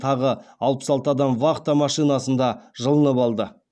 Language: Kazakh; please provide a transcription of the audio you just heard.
тағы алпыс алты адам вахта машинасында жылынып алды